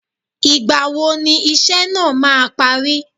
Ìgbàwo ni iṣẹ́ náà máa parí